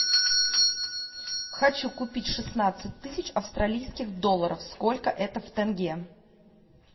хочу купить шестнадцать тысяч австралийских долларов сколько это в тенге